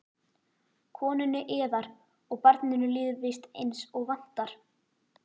Konunni yðar og barninu líður víst eins og vantar?